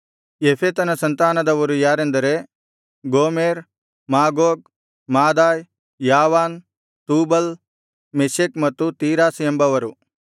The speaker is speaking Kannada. ಯೆಫೆತನ ಸಂತಾನದವರು ಯಾರೆಂದರೆ Gomer Magog Madai Javan Tubal Meshech ಮತ್ತು ತೀರಾಸ್ ಎಂಬವರು